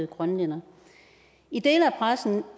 grønlænder i dele af pressen